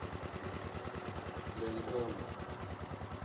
lenkolo